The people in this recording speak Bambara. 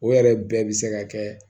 O yɛrɛ bɛɛ bɛ se ka kɛ